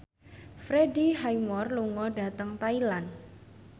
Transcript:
Freddie Highmore lunga dhateng Thailand